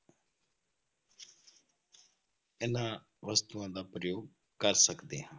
ਇਹਨਾਂ ਵਸਤੂਆਂ ਦਾ ਪ੍ਰਯੋਗ ਕਰ ਸਕਦੇ ਹਾਂ।